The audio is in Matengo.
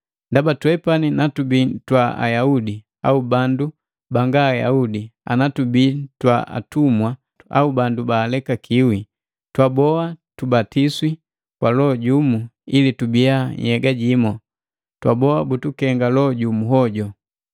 Ndaba twepani natubii twa Ayaudi au bandu banga Ayaudi ana tubii twa atumwa au bandu balekakiwi, twaboha tubatiswi kwa Loho jumu ili tubiya nhyega jimu, twaboa butukenga Loho jumu hoju.